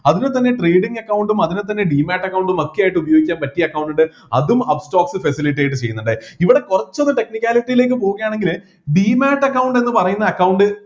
അതിൽ തന്നെ trading account ഉം അതിൽ തന്നെ demate account ഉം ഒക്കെ ആയിട്ട് ഉപയോഗിക്കാൻ പറ്റിയ account ഇണ്ട് അതും upstox facilitate ചെയ്യുന്നുണ്ട് ഇവിടെ കുറച്ച് ഒന്ന് technicality യിലേക്ക് പോകുകയാണെങ്കില് demate account എന്നു പറയുന്ന account